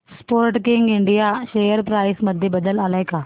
Sportking India share price मध्ये बदल आलाय का